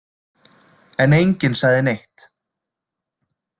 En enginn sagði neitt.